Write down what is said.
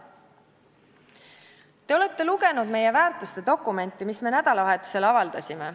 Te olete lugenud meie väärtuste dokumenti, mille me nädalavahetusel avaldasime.